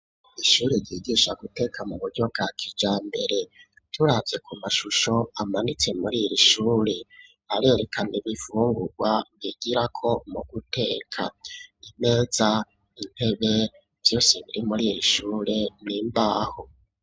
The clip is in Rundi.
Ishuri ryigisha guteka mu buryo bwa kijambere turavye ku mashusho amanitse muriri shure arerekana ibifungurwa bigirako mu guteka imeza intebe vyose biri muri iri ishure n'imbaho.